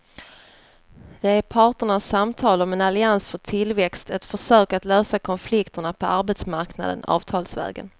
Det är parternas samtal om en allians för tillväxt, ett försök att lösa konflikterna på arbetsmarknaden avtalsvägen.